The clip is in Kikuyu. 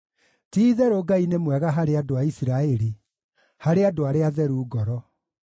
Ti-itherũ Ngai nĩ mwega harĩ andũ a Isiraeli, harĩ andũ arĩa atheru ngoro.